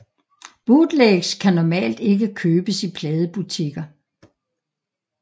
Bootlegs kan normalt ikke købes i pladebutikker